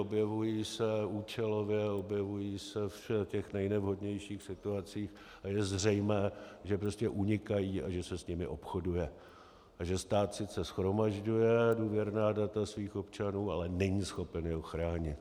Objevují se účelově, objevují se v těch nejnevhodnějších situacích, a je zřejmé, že prostě unikají a že se s nimi obchoduje a že stát sice shromažďuje důvěrná data svých občanů, ale není schopen je ochránit.